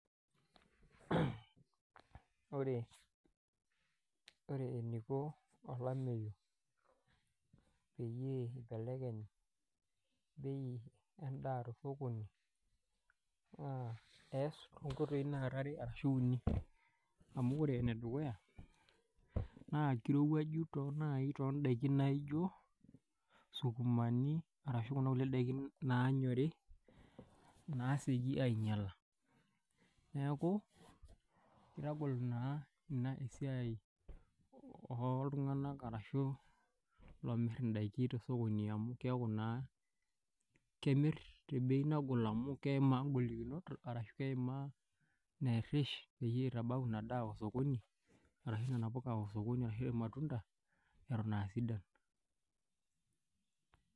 Wore eniko olameyu peyie ibelekeny bei endaa tosokoni. Naa eass toombaa nara ware arashu uni, amu wore enedukuya naa kirowuaju naai tondaikin naijo sukumani arashu kunda kulie daikin naanyori, naasieki ainyiala. Neeku, kitagol naa inia esiai oltunganak arashu loomir indaikin tosokoni amu keeku naa kemirr tebei nagol amu keimaa ingolikinot arashu keimaa ineerish, peyie itabau inia daa osokoni arashu niana puka osokoni arashu ilmatunda, eton aa sidan.